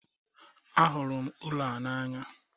Ahụrụ m ụlọ a n'anya